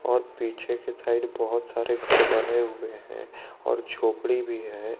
और पीछे की साइड बहुत सारे घर बने हुए हैं और झोपड़ी भी है।